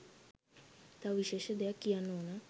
තව විශේෂ දෙයක් කියන්න ඕනා.